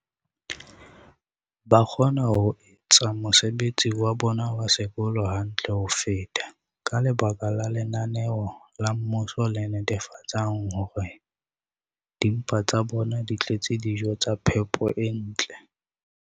ba kgona ho etsa mosebetsi wa bona wa sekolo hantle ho feta ka lebaka la lenaneo la mmuso le netefatsang hore dimpa tsa bona di tletse dijo tsa phepo e ntle.